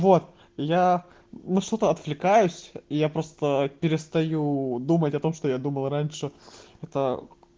вот я на что-то отвлекаюсь я просто перестаю думать о том что я думал раньше это